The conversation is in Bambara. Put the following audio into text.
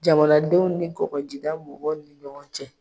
Jamanadenw ni kɔkɔjida mɔgɔw ni ɲɔgɔn cɛ.